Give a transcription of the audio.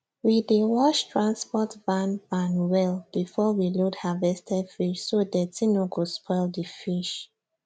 we dey wash transport van van well before we load harvested fish so dirty no go spoil di fish